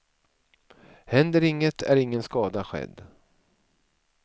Händer inget är ingen skada skedd.